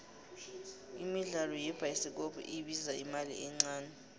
imidlalo yebhayisikopko ibiza imali encane